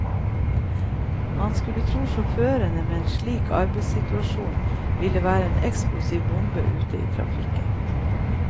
Man skulle tro sjåførene med en slik arbeidssituasjon ville være en eksplosiv bombe ute i trafikken.